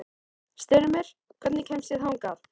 Styrmir, hvernig kemst ég þangað?